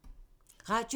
Radio 4